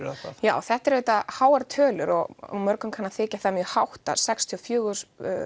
eða hvað já þetta eru auðvitað háar tölur og mörgum kann að þykja það mjög hátt að sextíu og fjögur